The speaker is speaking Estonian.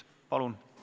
Palun!